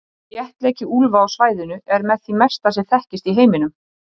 Þéttleiki úlfa á svæðinu er með því mesta sem þekkist í heiminum.